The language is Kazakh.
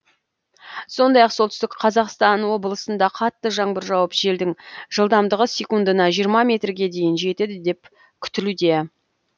сондай ақ солтүстік қазақстан облысында қатты жаңбыр жауып желдің жылдамдығы секундына жиырма метрге дейін жетеді деп күтілуде